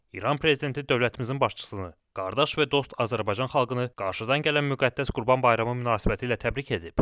İran Prezidenti dövlətimizin başçısını, qardaş və dost Azərbaycan xalqını qarşıdan gələn müqəddəs Qurban Bayramı münasibətilə təbrik edib.